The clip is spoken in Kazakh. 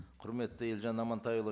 құрметті елжан амантайұлы